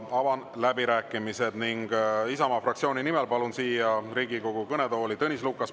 Avan läbirääkimised ning palun Isamaa fraktsiooni nimel siia Riigikogu kõnetooli Tõnis Lukase.